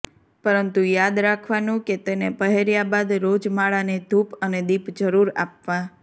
પરંતુ યાદ રાખવાનું કે તેને પહેર્યા બાદ રોજ માળાને ધૂપ અને દીપ જરૂર આપવા